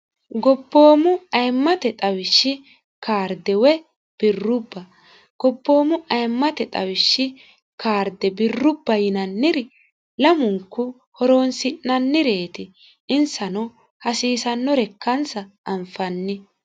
gobboomu ayimmate xawishshi kaarde woy birrubba gobboomu ayimmate xawishshi kaarde birrubba yinanniri lamunku horoonsi'nannireeti insano hasiisannore kansa anfanni